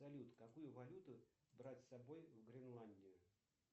салют какую валюту брать с собой вгренландию